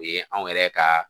O ye anw yɛrɛ ka